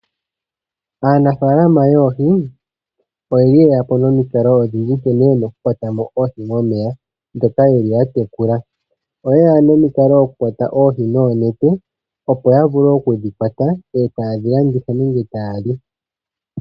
Aanafalama yoohi oyeli yeya po nomiikalo odhindji nkene yena oku kwata mo oohi momeya dhoka yeli ya tekula. Oyeya nomikalo oku kwata oohi noonete opo ya vulu okudhi kwata tayedhi landitha nenge taya li.